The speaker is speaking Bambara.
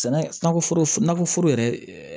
Sɛnɛkɔ nakɔ foro yɛrɛ